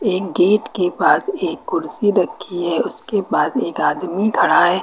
एक गेट के पास एक कुर्सी रखी है उसके बाद एक आदमी खड़ा है।